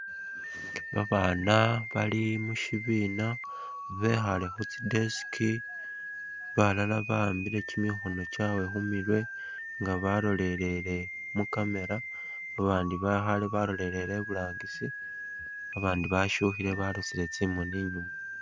Babana bali mushibina bekhale khutsi'desk balala ba'ambile kimikhono khumurwe nga balolele mu'camera, babandi bekhale balolele iburangisi abandi bashukhile balosile tsimoni inyuma